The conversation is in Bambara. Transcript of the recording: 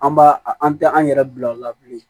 An b'a an tɛ an yɛrɛ bila o la bilen